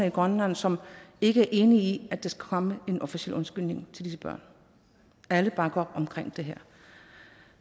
i grønland som ikke er enige i at der skal komme en officiel undskyldning til disse børn alle bakker op omkring det her